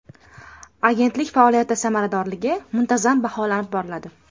Agentlik faoliyati samaradorligi muntazam baholanib boriladi.